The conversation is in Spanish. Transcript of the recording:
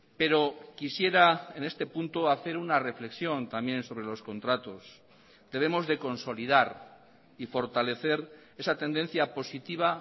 pero quisiera en este punto hacer una reflexión también sobre los contratos debemos de consolidar y fortalecer esa tendencia positiva